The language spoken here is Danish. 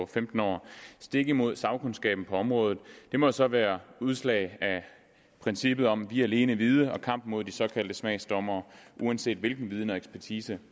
femten år stik imod sagkundskaben på området må så være udslag af princippet om vi alene vide og kampen mod de såkaldte smagsdommere uanset hvilken viden og ekspertise